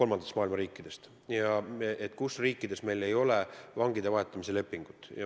Pean silmas kolmanda maailma riike, kellega meil ei ole sõlmitud vangide vahetamise lepingut.